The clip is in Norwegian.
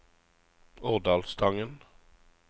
Årdalstangen